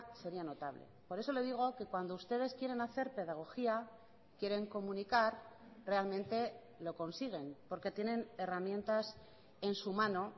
sería notable por eso le digo que cuando ustedes quieren hacer pedagogía quieren comunicar realmente lo consiguen porque tienen herramientas en su mano